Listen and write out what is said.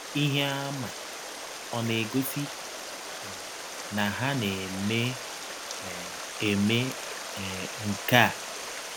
Ihe àmà ọ̀ na - egọsi um na ha na - eme um eme um nke a? um